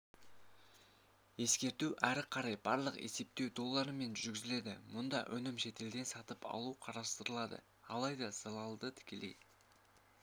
ескерту ары қарай барлық есептеу долларымен жүргізіледі бұнда өнімді шетелден сатып алу қарастырылады алайда залалды тікелей